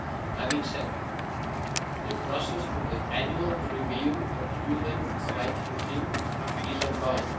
Having said that, the process for the annual review of the human rights regime is ongoing.